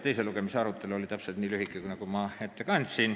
Teise lugemise arutelu oli just nii lühike, nagu ma ette kandsin.